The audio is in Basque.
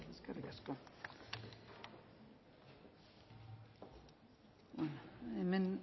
eskerrik asko hemen